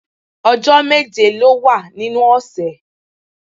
Ọjọ́ méje ló wà nínú ọ̀sẹ̀